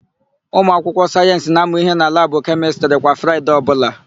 Ụmụakwụkwọ sayensị na-amụ íhé na labụ kemịstrị kwa Fraịde ọbụla.